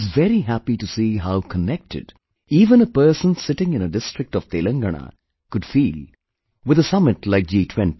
I was very happy to see how connected even a person sitting in a district of Telangana could feel with a summit like G20